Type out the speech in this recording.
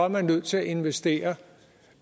man nødt til at investere